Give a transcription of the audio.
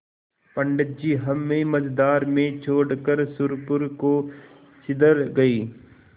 पंडित जी हमें मँझधार में छोड़कर सुरपुर को सिधर गये